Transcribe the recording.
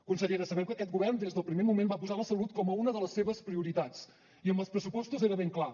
consellera sabem que aquest govern des del primer moment va posar la salut com a una de les seves prioritats i amb els pressupostos era ben clar